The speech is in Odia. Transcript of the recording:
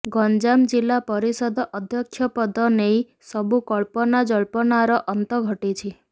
ଗଞ୍ଜାମ ଜିଲ୍ଲା ପରିଷଦ ଅଧ୍ୟକ୍ଷ ପଦ ନେଇ ସବୁ କଳ୍ପନାଜଳ୍ପନାର ଅନ୍ତ ଘଟିଛି